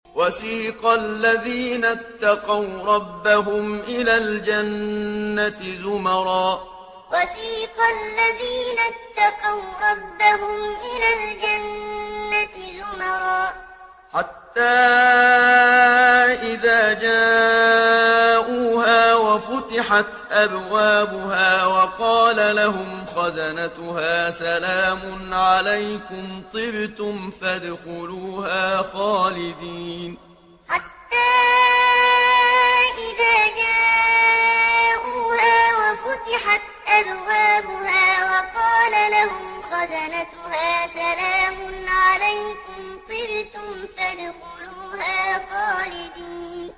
وَسِيقَ الَّذِينَ اتَّقَوْا رَبَّهُمْ إِلَى الْجَنَّةِ زُمَرًا ۖ حَتَّىٰ إِذَا جَاءُوهَا وَفُتِحَتْ أَبْوَابُهَا وَقَالَ لَهُمْ خَزَنَتُهَا سَلَامٌ عَلَيْكُمْ طِبْتُمْ فَادْخُلُوهَا خَالِدِينَ وَسِيقَ الَّذِينَ اتَّقَوْا رَبَّهُمْ إِلَى الْجَنَّةِ زُمَرًا ۖ حَتَّىٰ إِذَا جَاءُوهَا وَفُتِحَتْ أَبْوَابُهَا وَقَالَ لَهُمْ خَزَنَتُهَا سَلَامٌ عَلَيْكُمْ طِبْتُمْ فَادْخُلُوهَا خَالِدِينَ